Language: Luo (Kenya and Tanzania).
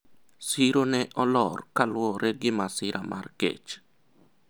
siro ne olor kaluwore gi masira mar kech